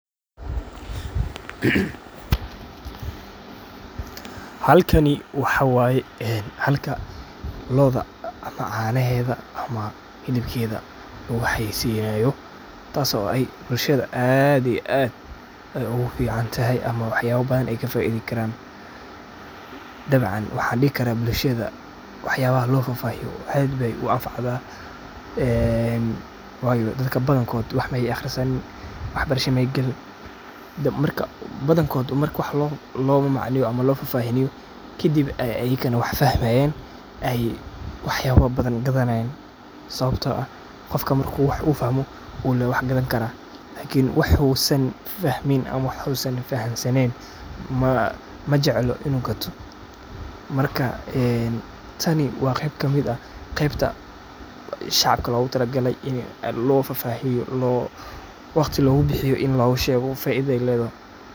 Halkani waxaa waye een halka do, oda ama canaheda ama hilibkeda lagu xayeysinayo taso oo ay bulshada aad iyo aad ayey ogu fican tahay ama waxyabo badan ey ka faidi karto dabcan waxaan dihi karaa bulshada wax yabaha la fafahiyo aad bey u an facdaa een wayo dadka badan kod wax Mey aqrisan waxbarasho Mey galin marka badan kood marka waa no macmacneyo ama loo fafahiyo kadib ey ayakana wax fahmayan eey wax yabo badan ey gadanayaan sawapto ah qofka marka uu wax fahmo luu wax gadan karaa wax uu san fahmi ama Usan fahansaneyn majeclo inuu gato. marka een tani waa qeyb kamid ah qeybta shacabka lagu talagale iney aad logu fafahiyo waqti logu bixiyo in lagu shego faidada ey ledahay.